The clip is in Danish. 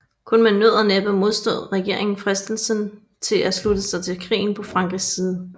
Kun med nød og næppe modstod regeringen fristelsen til at slutte sig til krigen på Frankrigs side